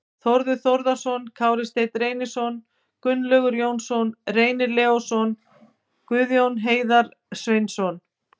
Þórður Þórðarson, Kári Steinn Reynisson, Gunnlaugur Jónsson, Reynir Leósson, Guðjón Heiðar Sveinsson